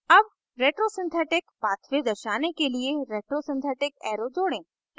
add retrosynthetic pathway दर्शाने के लिए retrosynthetic arrow जोड़ें